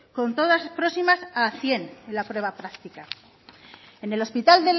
con todas próximas a cien en la prueba práctica